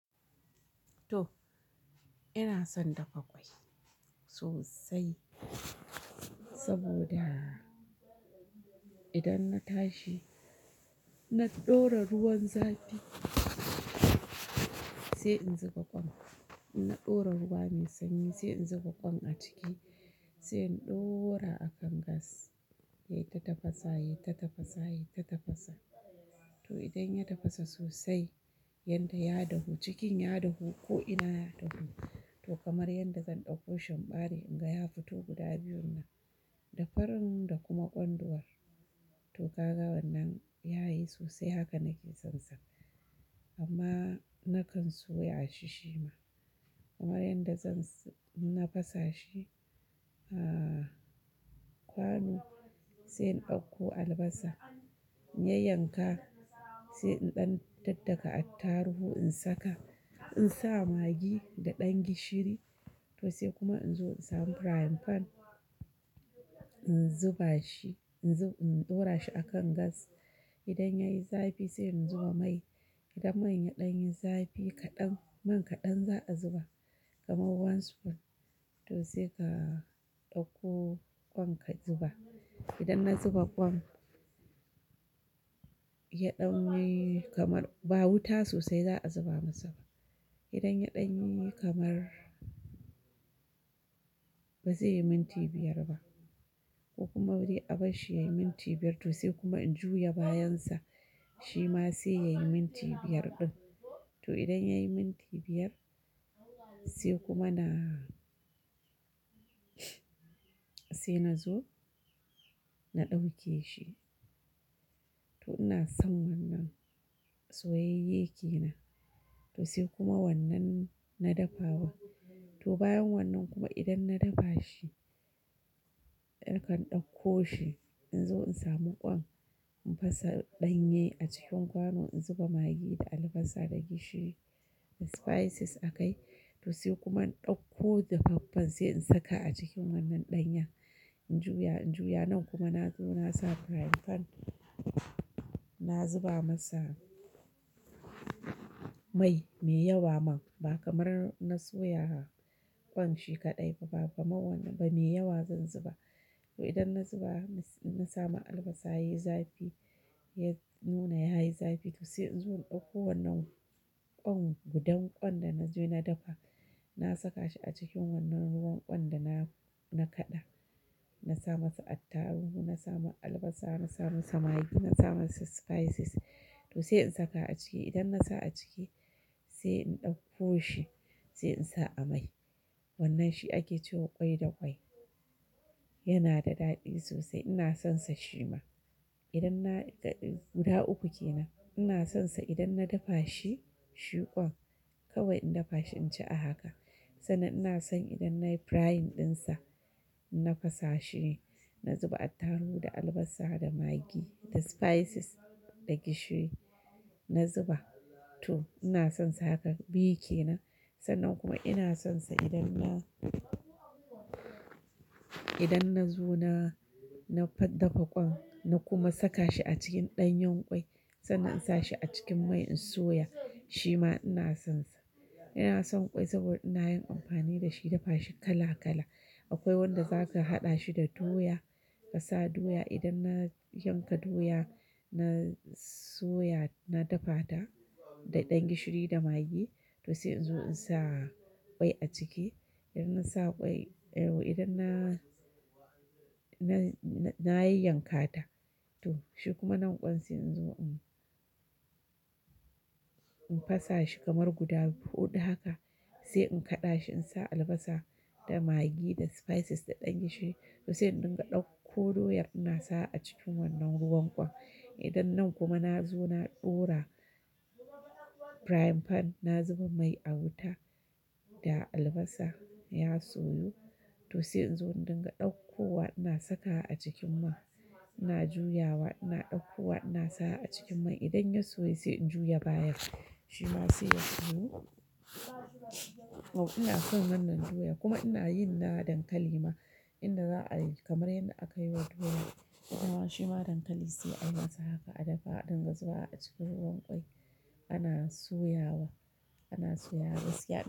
Toh ina son dafa ƙwai sosai saboda idan na tashi na ɗora ruwan zafi sai in zuba ƙwan. Na ɗora ruwa mai sanyi sai in zuba ƙwan a ciki, sai in ɗora a kan gas yai ta tafasa, yai ta tafasa, yai ta tafasa. Toh idan ya tafasa sosai yanda ya dahu, cikin ya dahu ko ina ya dahu. Toh kamar yanda zan ɗauko shi in bare in ga ya fito guda biyun nan da farin da kuma ƙwanduwar. Toh kaga wannan yayi sosai haka nake son sa amma na kan soya shi shima kamar yanda zan, na fasa shi, a kwano sai in ɗauko albasa in ya yanka sai in ɗan daddaka attarugu in saka, in sa magi da ɗan gishiri. Toh sai kuma in zo in samu frying pan in zuba shi, in zo in ɗora shi a kan gas. Idan yayi zafi sai in zuba mai, idan man ya ɗan yi zafi kaɗan, man kaɗan za a zuba kamar one spoon. Toh sai ka ɗauko ƙwan ka zuba. Idan na zuba ƙwan ya ɗan yi kamar ba wuta sosai za a zuba masa ba. Idan ya ɗan yi kamar ba zai yi minti biyar ba ko kuma dei bari abashi ya yi minti biyar. Toh sai kuma in juya bayan sa shi ma sai ya yi minti biyar ɗin. To idan ya yi minti biyar sai kuma na, sai na zo na ɗauke shi. Toh ina son wannan soyayye ke nan. To sai kuma wannan na dafawa. Toh bayan wannan kuma idan na dafa shi, nakan ɗakko shi in zo in samu ƙwan in fasa ɗanye a cikin kwano, in zuba magi da albasa da gishiri da spices a kai. Toh sai kuma in ɗauko dafaffen sai in saka a cikin wannan ɗanyan. In juya, in juya nan kuma na zo na sa frying pan, na zuba masa mai mai yawa man ba kamar na soya ƙwan shi kaɗai ba, ba, kaman wannan, ba mai yawa zan zuba. Toh idan na zuba, na sama albasa yayi zafi, ya nuna yayi zafi toh sai in zo in ɗauko wannan ƙwan gudan ƙwan da na je na dafa. Na saka shi a cikin wannan ruwan ƙwan da na, na kaɗa. Na sa masa attaruhu, na sa masa albasa, na sa masa magi, na sa masa spices. Toh sai in saka a ciki, idan na sa a ciki sai in ɗauko shi sai in sa a mai. Wannan shi ake cewa ƙwai da ƙwai. Yana da daɗi sosai ina son sa shima. Idan na, guda uku ke nan ina son sa idan na dafa shi, shi ƙwan kawai in dafa shi in ci a haka. Sannan ina son idan nayi frying ɗinsa, na fasa shi, na zuba attarugu da albasa da magi da spices da gishiri na zuba. To ina son sa haka biyu ke nan. Sannan kuma ina son sa idan na, idan na zo na, na fa dafa ƙwan na kuma saka shi a cikin ɗanyen ƙwai. Sannan in sa shi a cikin mai in soya shi ma ina son sa. Ina son ƙwai saboda ina yin amfani da shi, dafa shi kala kala. Akwai wanda za ka haɗa shi da doya ka sa doya idan na yanka doya na soya, na dafa ta da ɗan gishiri da magi. To sai in zo in sa ƙwai a ciki idan na sa ƙwai, eh, idan na, na, na yi yankata. To shi kuma nan ƙwan sai in zo in, in fasa shi kamar guda huɗu haka sai in kaɗa shi in sa albasa da magi da spices da ɗan gishiri. Toh sai in dinga ɗauko doyar ina sa a cikin wannan ruwan ƙwan. Idan nan kuma na zo na ɗora frying pan, na zuba mai a wuta da albasa ya soyu. Toh sai in zo dinga ɗauko wa ina saka a cikin man ina juyawa, ina ɗauko wa ina sa a cikin mai idan ya soya sai in juya bayan sa shi ma sai ya soyu. Toh ina son wannan doya kuma ina yin na dankali ma inda za a yi kamar yanda aka yi wa doya ita ma shi ma dankali sai ayi masa haka a dafa a ɗinga zuba a cikin ruwan ƙwai ana soya wa, ana soya gaskya.